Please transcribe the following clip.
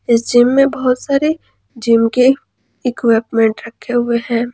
इस जिम में बहोत सारे जिम के इक्विपमेंट रखे हुए हैं।